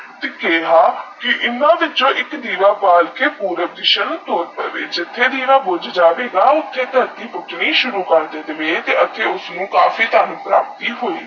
ਕੇਹਾ ਇੰਨਾ ਵਿਚੋ ਇਕ ਦੀਵਾ ਬਾਲ ਕੇ ਪੁਰਬ ਦੀਸਾ ਨੂੰ ਟੋਰ ਪਾਵੇ ਜਿੱਥੇ ਵੀ ਦੀਵਾ ਬੁਜ ਜਾਵੇਗਾ ਉਥੇ ਦਰਤੀ ਪੁਤਨੀ ਸੁਰੂ ਕਰ ਦਵੇ ਆਘੇ ਉਸਨੂ ਕਾਫੀ ਧਨ ਪ੍ਰਾਪਤੀ ਹੋਏਗੀ